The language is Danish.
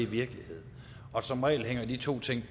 virkelighed og som regel hænger de to ting